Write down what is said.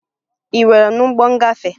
Ị nwere n'ụgbọ ngafe?